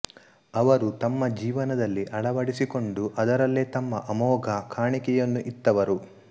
ಅವರು ತಮ್ಮ ಜೀವನದಲ್ಲಿ ಅಳವಡಿಸಿಕೊಂಡು ಅದರಲ್ಲೇ ತಮ್ಮ ಅಮೋಘ ಕಾಣಿಕೆಯನ್ನು ಇತ್ತವರು